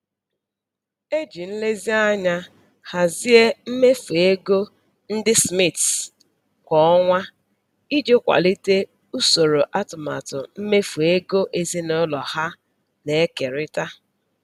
E ji nlezianya hazie mmefu ego ndị Smiths kwa ọnwa iji kwalite usoro atụmatụ mmefu ego ezinụlọ ha na-ekerịta.